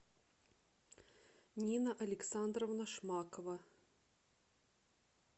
нина александровна шмакова